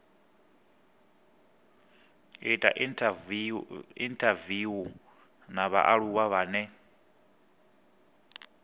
ita inthaviwu na vhaaluwa vhane